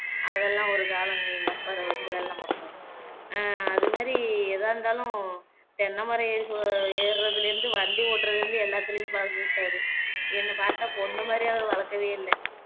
அதெல்லாம் ஒரு காலம்ங்க எங்க அப்பாரு அஹ் அதே மாதிரி எதா இருந்தாலும் தென்னைமரம் ஏறி சொ ஏற்றதுல இருந்து வண்டி ஓட்டுறதுலேயிருந்து எல்லாத்துலையுமே பழக்கிவிட்டாரு என்ன பாத்தா பொண்ணு மாதிரி அவரு வளக்கவே இல்ல